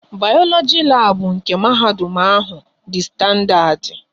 Bayoloji labu nke mahadum ahụ dị standadi